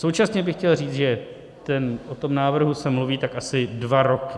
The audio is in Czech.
Současně bych chtěl říct, že o tom návrhu se mluví tak asi dva roky.